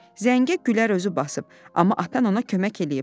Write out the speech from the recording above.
Zəngə Güllər özü basıb, amma atan ona kömək eləyib.